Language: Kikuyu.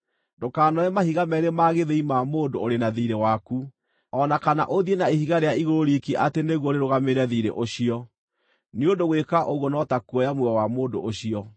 Ndũkanoe mahiga meerĩ ma gĩthĩi ma mũndũ ũrĩ na thiirĩ waku, o na kana ũthiĩ na ihiga rĩa igũrũ riiki atĩ nĩguo rĩrũgamĩrĩre thiirĩ ũcio, nĩ ũndũ gwĩka ũguo no ta kuoya muoyo wa mũndũ ũcio.